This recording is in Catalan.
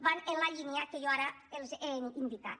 van en la lí·nia que jo ara els he indicat